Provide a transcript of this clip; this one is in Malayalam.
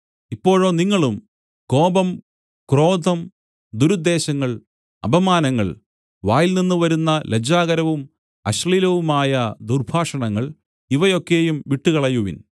ഇപ്പോഴോ നിങ്ങളും കോപം ക്രോധം ദുരുദ്ദേശങ്ങൾ അപമാനങ്ങൾ വായിൽനിന്ന് വരുന്ന ലജ്ജാകരവും അശ്ലീലവുമായ ദുർഭാഷണങ്ങൾ ഇവയൊക്കെയും വിട്ടുകളയുവിൻ